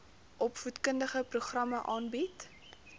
opvoedkundige programme aanbied